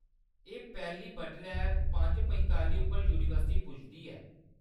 एह्‌‌ पैह्‌‌ली बडलै पंज पंताली उप्पर यूनिवर्सिटी पुजदी ऐ।